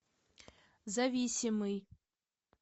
зависимый